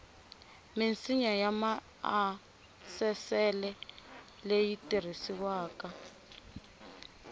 minsinya ya maasesele leyi tirhisiwaka